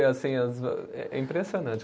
É impressionante.